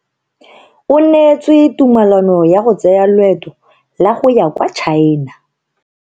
O neetswe tumalano ya go tsaya loeto la go ya kwa China.